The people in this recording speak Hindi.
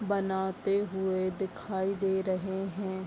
बनाते हुए दिखाई दे रहे हैं।